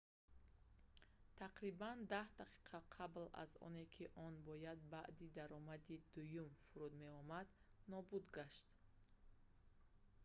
тақрибан даҳ дақиқа қабл аз оне ки он бояд баъди даромади дуюм фуруд меомад нобуд гашт